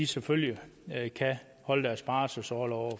selvfølgelig kan holde deres barselsorlov og